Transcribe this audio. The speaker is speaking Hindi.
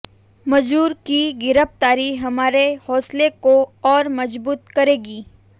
मंजूर की गिरफ्तारी हमारे हौसले को और मजबूत करेगी